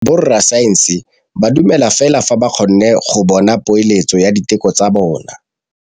Borra saense ba dumela fela fa ba kgonne go bona poeletsô ya diteko tsa bone.